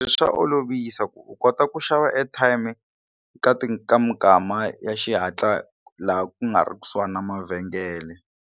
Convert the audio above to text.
Swa olovisa ku u kota ku xava airtime ka ti ka mikama ya xihatla laha ku nga ri kusuhani na mavhengele.